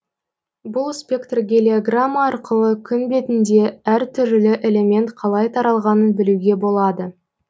бұл спектрогелиограмма арқылы күн бетінде әр түрлі элемент қалай таралғанын білуге болады